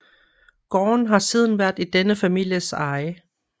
Gården har siden været i denne families eje